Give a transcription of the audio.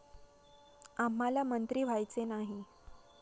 आम्हाला मंत्री व्हायचे नाही.